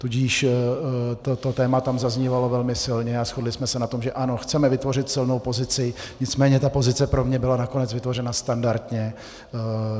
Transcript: Tudíž toto téma tam zaznívalo velmi silně a shodli jsme se na tom, že ano, chceme vytvořit silnou pozici, nicméně ta pozice pro mě byla nakonec vytvořena standardně.